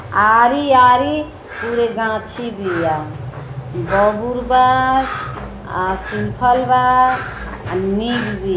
आरी-आरी पूरे गाछी बिया बबूर बा आ सिरफल बा आ नीब बीया।